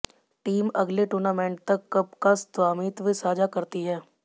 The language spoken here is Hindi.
टीम अगले टूर्नामेंट तक कप का स्वामित्व साझा करती है